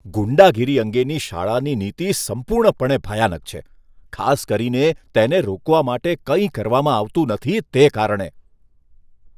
ગુંડાગીરી અંગેની શાળાની નીતિ સંપૂર્ણપણે ભયાનક છે, ખાસ કરીને તેને રોકવા માટે કંઈ કરવામાં આવતું નથી, તે કારણે.